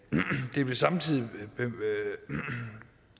det blev samtidig